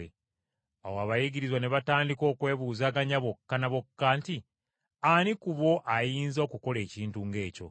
Awo abayigirizwa ne batandika okwebuuzaganya bokka na bokka nti ani ku bo ayinza okukola ekintu ng’ekyo!